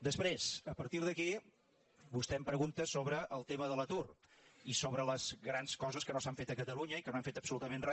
després a partir d’aquí vostè em pregunta sobre el tema de l’atur i sobre les grans coses que no s’han fet a catalunya i que no hem fet absolutament re